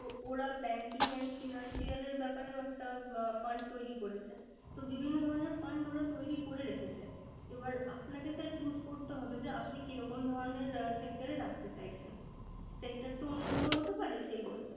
ওরা banking and financial এর ব্যাপারেও একটা আহ fund তৈরি করেছে। তো বিভিন্ন ধরনের fund ওরা তৈরি করেছে এবার আপনাকে sir choose করতে হবে ‍যে, আপনি কি রকমের ধরনের sector এ রাখতে চাইছেন। Sector তো অন্য অন্যও হতে পারে, সেই জন্য।